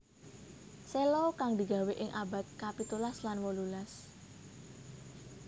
Cello kang digawé ing abad kapitulas lan wolulas